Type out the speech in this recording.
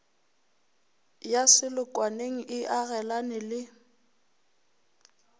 ya selokwaneng e agelane le